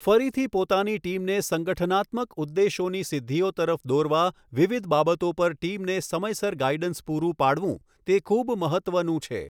ફરીથી પોતાની ટીમને સંગઠનાત્મક ઉદ્દેશોની સિદ્ધિઓ તરફ દોરવા વિવિધ બાબતો પર ટીમને સમયસર ગાઈડન્સ પૂરું પાડવું તે ખૂબ મહત્ત્વનું છે.